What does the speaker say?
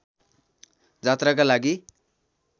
जात्राका लागि